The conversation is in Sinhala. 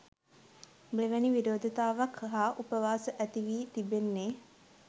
මෙවැනි විරෝධතාවක් හා උපවාස ඇති වී තිබෙන්නේ.